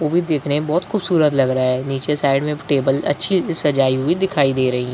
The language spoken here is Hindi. उ भी देखने में बहोत खूबसूरत लग रहा है नीचे साइड में टेबल अच्छी सजाई हुई दिखाई दे रहीं।